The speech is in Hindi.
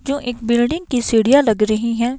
जो एक बिल्डिंग की सीढ़ियां लग रही हैं।